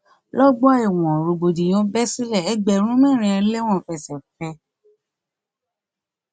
lọgbà ẹwọn rògbòdìyàn bẹ sílẹ ẹgbẹrún mẹrin ẹlẹwọn fẹsẹ fẹ